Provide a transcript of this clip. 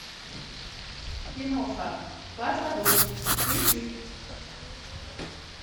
киноха под водой включи